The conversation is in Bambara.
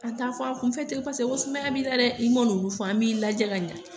An t'a fɔ an kunfɛ ten paseke sumaya b'i la dɛ, i m'a n'olu fɔ an b'i lajɛ ka ɲɛ.